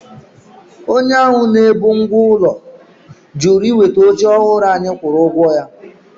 Onye ahụ na-ebu ngwá ụlọ jụrụ iweta oche ọhụrụ anyị kwụrụ ụgwọ ya.